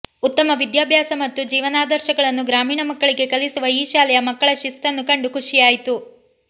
ಉತ್ತಮ ವಿದ್ಯಾಭ್ಯಾಸ ಮತ್ತು ಜೀವನಾದರ್ಶಗಳನ್ನು ಗ್ರಾಮೀಣ ಮಕ್ಕಳಿಗೆ ಕಲಿಸುವ ಈ ಶಾಲೆಯ ಮಕ್ಕಳ ಶಿಸ್ತನ್ನು ಕಂಡು ಖುಷಿಯಾಯಿತು